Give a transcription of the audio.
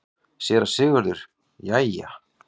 SÉRA SIGURÐUR: Jæja!